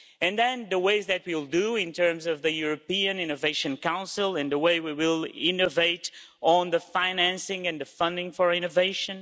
And then the ways that we will do it in terms of the European Innovation Council and the way we will innovate on the financing and the funding for innovation.